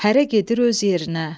Hərə gedir öz yerinə.